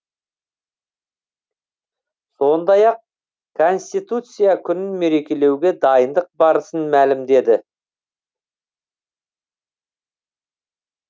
сондай ақ конституция күнін мерекелеуге дайындық барысын мәлімдеді